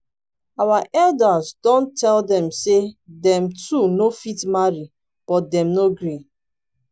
our elders don tell dem say dem two no fit marry but dem no gree